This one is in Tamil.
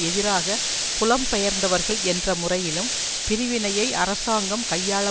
எதிராக புலம்பெயர்ந்தவர்கள் என்ற முறையிலும் பிரிவினையை அரசாங்கம் கையாள